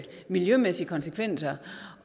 miljømæssige konsekvenser